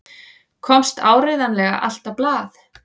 Komst áreiðanlega allt á blað?